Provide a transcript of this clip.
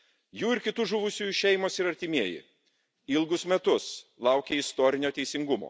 Jų ir kitų žuvusiųjų šeimos ir artimieji ilgus metus laukė istorinio teisingumo.